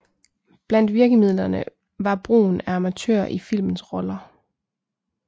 Blandt virkemidlerne var brugen af amatører i filmens roller